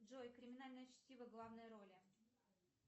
джой криминальное чтиво главные роли